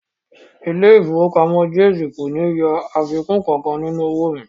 Ilé ìfowópamọ́ Jaiz kò ní yọ owó àfikún kankan nínú owó mi